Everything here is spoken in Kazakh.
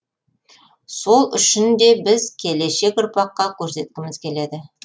сол үшін де біз келешек ұрпаққа көрсеткіміз келеді